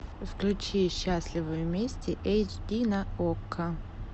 включи счастливы вместе эйч ди на окко